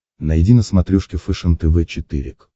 найди на смотрешке фэшен тв четыре к